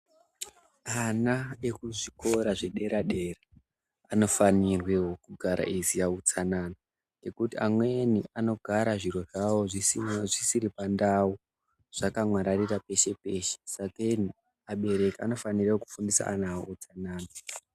Ana ekuzvikora zvedera-dera, anofanirwewo kugara eiziya utsanana, ngekuti amweni anogara zviro zvavo zvisina zvisiri pandau ,zvakamwararira pese-pese. Sakeni, abereki anofana kufundisa ana awo utsanana.